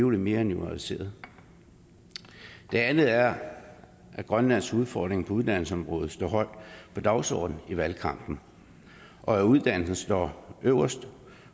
mere nuanceret det andet er at grønlands udfordring på uddannelsesområdet stod højt på dagsordenen i valgkampen og at uddannelse står øverst